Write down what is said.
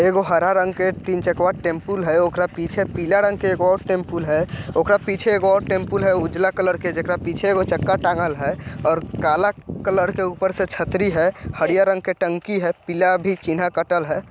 एगो हरा रंग के तीन चकवा टेम्पुल है ओकरा पीछे पीला रंग के एक और टेम्पुल है| ओकरा पीछे एक और टेम्पुल है उजला कलर के जगह पीछे एगो चक्का टाँगल है और काला कलर के ऊपर से छतरी है हरिया रंग के टंकी है पीला भी चीन्ह कटल है।